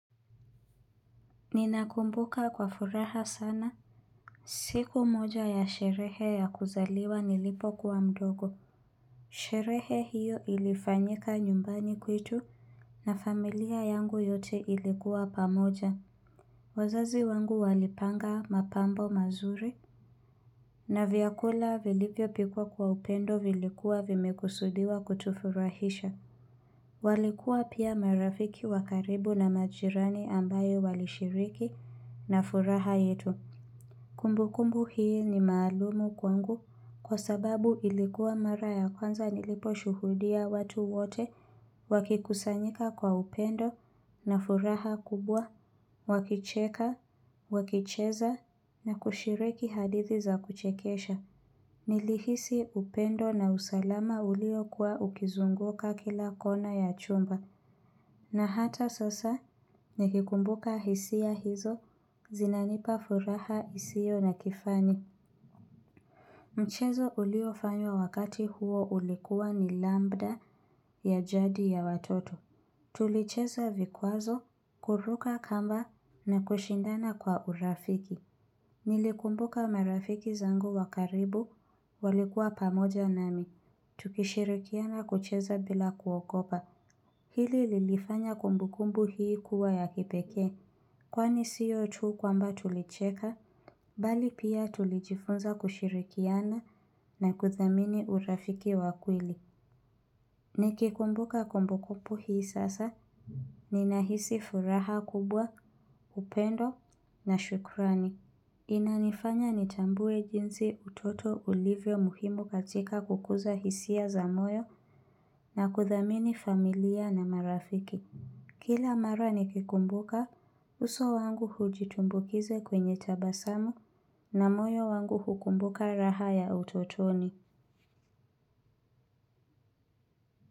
Ninakumbuka kwa furaha sana, siku moja ya sherehe ya kuzaliwa nilipokuwa mdogo. Sherehe hiyo ilifanyika nyumbani kwetu na familia yangu yote ilikuwa pamoja. Wazazi wangu walipanga mapambo mazuri, na vyakula vilivyopikwa kwa upendo vilikuwa vimekusudiwa kutufurahisha. Walikuwa pia marafiki wa karibu na majirani ambayo walishiriki na furaha yetu. Kumbukumbu hii ni maalum kwangu kwa sababu ilikuwa mara ya kwanza niliposhuhudia watu wote wakikusanyika kwa upendo na furaha kubwa, wakicheka, wakicheza na kushiriki hadithi za kuchekesha. Nilihisi upendo na usalama uliokuwa ukizunguka kila kona ya chumba na hata sasa nikikumbuka hisia hizo zinanipa furaha isiyo na kifani. Mchezo uliofanywa wakati huo ulikuwa ni lambda ya jadi ya watoto. Tulicheza vikwazo kuruka kamba na kushindana kwa urafiki. Nilikumbuka marafiki zangu wa karibu walikuwa pamoja nami tukishirikiana kucheza bila kuogopa Hili lilifanya kumbukumbu hii kuwa ya kipekee Kwani siyo tu kwamba tulicheka Bali pia tulijifunza kushirikiana na kuthamini urafiki wa kweli Nikikumbuka kumbukumbu hii sasa Ninahisi furaha kubwa, upendo na shukrani Inanifanya nitambue jinsi utoto ulivyo muhimu katika kukuza hisia za moyo na kuthamini familia na marafiki. Kila mara nikikumbuka, uso wangu hujitumbukiza kwenye tabasamu na moyo wangu hukumbuka raha ya utotoni.